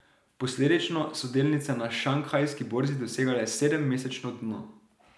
Posledično so delnice na Šanghajski borzi dosegle sedemmesečno dno.